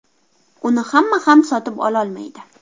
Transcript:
Uni hamma ham sotib ololmaydi.